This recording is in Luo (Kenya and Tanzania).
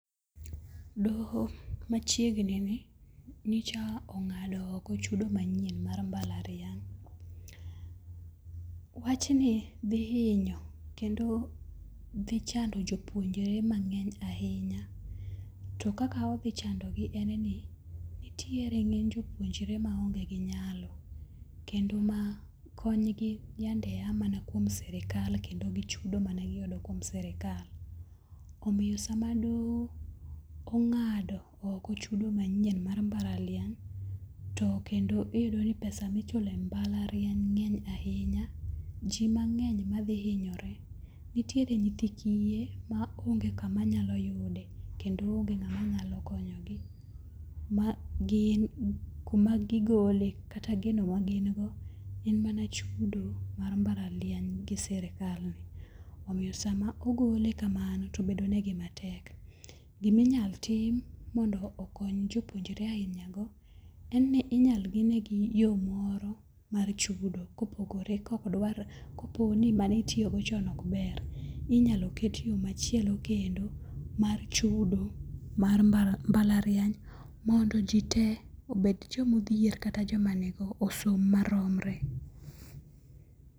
Doho machiegnini nyocha ong'ado oko chudo manyien mar mbalariany. Wachni dhi hinyo, kendo dhi chando jopuonjre mang'eny ahinya, to kaka odhi chandogi en ni nitiere ng'eny jopuonjre maonge gi nyalo, kendo ma konygi yande a mana kuom sirikal kendo gi chudo mane giyudo kuom sirikal. Omiyo sama doho ong'ado oko chudo manyien mar mbalariany, to kendo iyudo ni pesa michulo e mbalariany ng'eny ahinya. Ji mang'eny madhi hinyore. Nitiere nyithi kiye ma onge kama nyalo yude kendo onge ng'ama nyalo konyogi ma kuma gigole kata gino ma gin go en mana chudo mar mbalariany gi sirikal. Omiyo sama ogole kamano, to bedo negi matek. Giminyalo tim mondo okony jopuonjre aina go, inyalo ng'inegi yo moro mar chudo kopogore kokdwar, koponi mane itiyo go chon ok ber. Inyalo ket yo machielo kendo mar chudo mar mbalariany, mondo ji te ,obed joma odhier kata joma nigo, osom maromre.